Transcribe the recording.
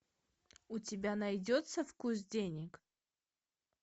у тебя найдется вкус денег